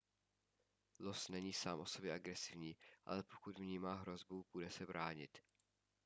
los není sám o sobě agresivní ale pokud vnímá hrozbu bude se bránit